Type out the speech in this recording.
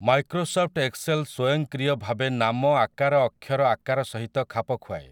Microsoft Excel ସ୍ୱୟଂକ୍ରିୟ ଭାବେ ନାମ ଆକାର ଅକ୍ଷର ଆକାର ସହିତ ଖାପଖୁଆଏ ।